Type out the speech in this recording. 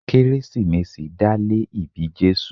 Kérésìmesì dá lé ìbí Jésù.